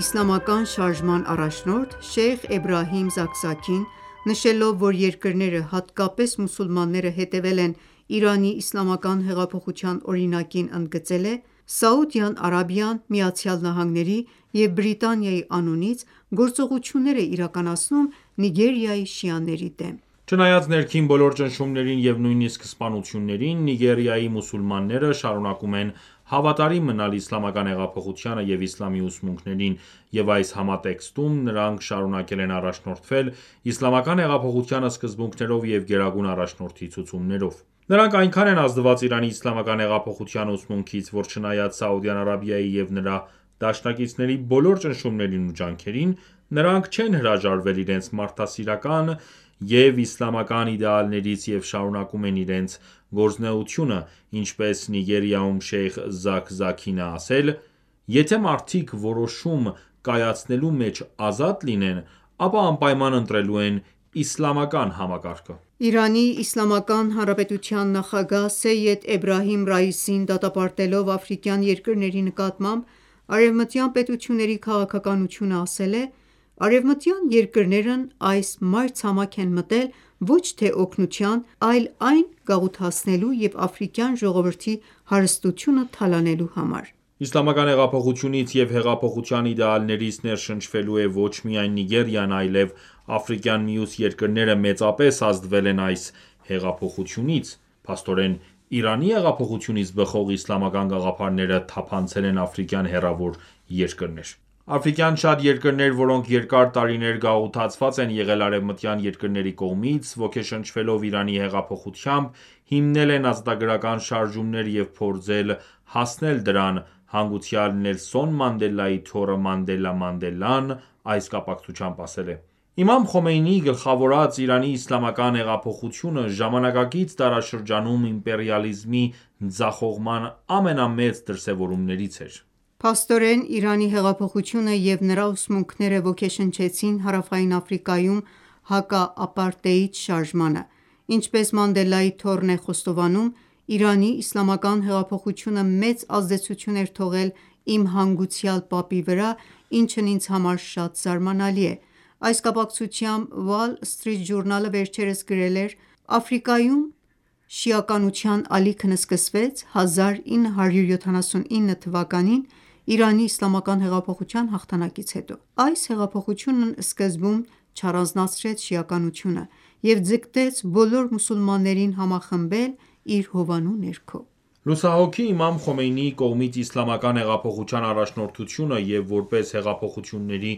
իսլամական շարժման առաջնորդ Շեյխ Էբրահիմ Զաքզաքին նշելով, որ երկրները, հատկապես մուսուլմանները, հետևել են Իրանի իսլամական հեղափոխության օրինակին ընդգծել է.-«Սաուդյան Արաբիան ԱՄՆ-ի և Բրիտանիայի անունից գործողություններ է իրականացնում Նիգերիայի շիաների դեմ»։ Չնայած ներքին բոլոր ճնշումներին և նույնիսկ սպանություններին, Նիգերիայի մուսուլմանները շարունակում են հավատարիմ մնալ իսլամական հեղափոխությանը և իսլամի ուսմունքներին, և այս համատեքստում նրանք շարունակել են առաջնորդվել իսլամական հեղափոխության սկզբունքներով և Գերագույն առաջնորդի ցուցումներով: Նրանք այնքան են ազդված Իրանի իսլամական հեղափոխության ուսմունքից, որ չնայած Սաուդյան Արաբիայի և նրա դաշնակիցների բոլոր ճնշումներին ու ջանքերին, նրանք չեն հրաժարվել իրենց մարդասիրական և իսլամական իդեալներից և շարունակում են իրենց գործունեությունը, ինչպես Նիգերիայում Շեյխ Զաքզաքին է ասել,- «Եթե մարդիկ որոշում կայացնելու մեջ ազատ լինեն, ապա անպայման ընտրելու են իսլամական համակարգը»։ Իրանի Իսլամական Հանրապետության նախագահ Սեյեդ Էբրահիմ Ռայիսին դատապարտելով աֆրիկյան երկրների նկատմամբ արևմտյան պետությունների քաղաքականությունը ասել է,- «Արևմտյան երկրներն այս մայրցամաք են մտել ոչ թե օգնության, այլ այն գաղութացնելու և աֆրիկյան ժողովրդի հարստությունը թալանելու համար»։ Իսլամական հեղափոխությունից և հեղափոխության իդեալներից ներշնչվել է ոչ միայն Նիգերիան, այլև աֆրիկյան մյուս երկրները մեծապես ազդվել են այս հեղափոխությունից, փաստորեն Իրանի հեղափոխությունից բխող իսլամական գաղափարները թափանցել են աֆրիկյան հեռավոր երկրներ։ Աֆրիկյան շատ երկրներ, որոնք երկար տարիներ գաղութացված են եղել արևմտյան երկրների կողմից, ոգեշնչվելով Իրանի հեղափոխությամբ, հիմնել են ազատագրական շարժումներ և փորձել հասնել դրան։ Հանգուցյալ Նելսոն Մանդելայի թոռը Մանդելա Մանդելան, այս կապակցությամբ ասել է.-«Իմամ Խոմեյնիի գլխավորած Իրանի իսլամական հեղափոխությունը ժամանակակից դարաշրջանում իմպերիալիզմի ձախողման ամենամեծ դրսեւորումներից էր»։ Փաստորեն Իրանի հեղափոխությունը և նրա ուսմունքները ոգեշնչեցին Հարավային Աֆրիկայում հակաապարտեիդ շարժմանը, ինչպես Մանդելայի թոռն է խոստովանում,-«Իրանի իսլամական հեղափոխությունը մեծ ազդեցություն էր թողել իմ հանգուցյալ պապի վրա, ինչն ինձ համար շատ զարմանալի է»: Այս կապակցությամբ Wall Street Journal-ը վերջերս գրել էր. –«Աֆրիկայում շիականության ալիքն սկսվեց 1979թ. Իրանի իսլամական հեղափոխության հաղթանակից հետո։ Այս հեղափոխությունն սկզբում չառանձնացրեց շիականությունը և ձգտեց բոլոր մուսուլմաններին համախմբել իր հովանու ներքո»: Լուսահոգի իմամ Խոմեյնիի կողմից Իսլամական հեղափոխության առաջնորդությունը և որպես հեղափոխությունների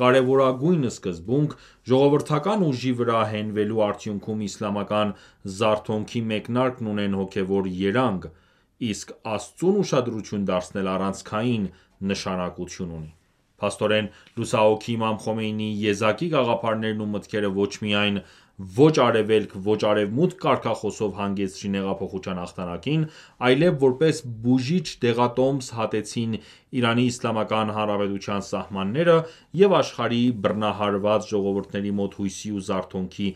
կարևորագույն սկզբունք՝ ժողովրդական ուժի վրա հենվելու արդյունքում Իսլամական զարթոնքի մեկնարկն ունեն հոգևոր երանգ, իսկ Աստծուն ուշադրություն դարձնելը առանցքային նշանակություն ունի։ Փաստորեն լուսահոգի Իմամ Խոմեյնիի եզակի գաղափարներն ու մտքերը, ոչ միայն «Ո՛չ արևելք, ո՛չ արևմուտք» կարգախոսով հանգեցրին հեղափոխության հաղթանակին, այլև որպես բուժիչ դեղատոմս հատեցին ԻԻՀ-ի սահմանները և աշխարհի բռնահարված ժողովուրդների մոտ հույսի ու զարթոնքի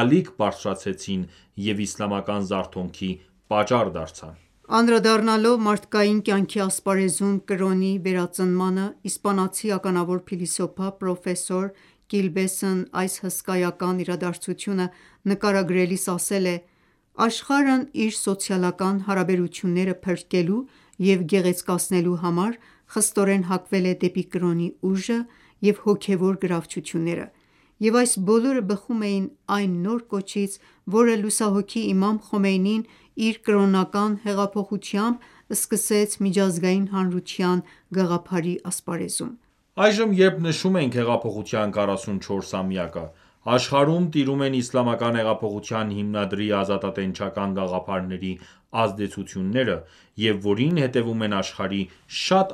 ալիք բարձրացրեցին և իսլամական զարթոնքի պատճառ դարձան։ Անդրադառնալով մարդկային կյանքի ասպարեզում կրոնի վերածնմանը, իսպանացի ականավոր փիլիսոփա, պրոֆեսոր Կիլբեսն այս հսկայական իրադարձությունը նկարագրելիս ասել է.-«Աշխարհն իր սոցիալական հարաբերությունները փրկելու և գեղեցկացնելու համար խստորեն հակվել է դեպի կրոնի ուժը և հոգևոր գրավչությունները և այս բոլորը բխում էին այն նոր կոչից, որը լուսահոգի իմամ Խոմեյնին իր կրոնական հեղափոխությամբ սկսեց միջազգային հանրության գաղափարի ասպարեզում»։ Այժմ երբ նշում ենք հեղափոխության 44-ամյակը, աշխարհում տիրում են իսլամական հեղափոխության հիմնադրի ազատատենչական գաղափարների ազդեցությունները և որին հետևում են աշխարհի շատ